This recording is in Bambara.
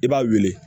I b'a wuli